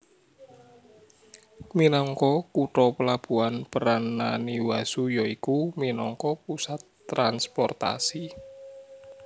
Minangka kutha pelabuhan peran Naniwazu ya iku minangka pusat transportasi